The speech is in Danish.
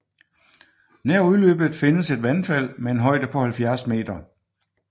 Nær udløbet findes et vandfald med en højde på 70 m